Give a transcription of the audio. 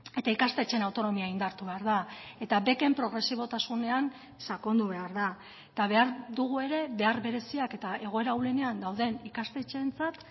eta ikastetxeen autonomia indartu behar da eta beken progresibotasunean sakondu behar da eta behar dugu ere behar bereziak eta egoera ahulenean dauden ikastetxeentzat